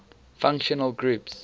functional groups